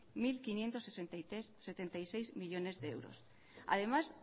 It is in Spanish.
mil quinientos setenta y seis millónes de euros además